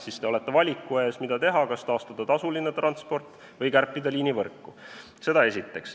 Siis te olete valiku ees, mida teha, kas taastada tasuline transport või kärpida liinivõrku.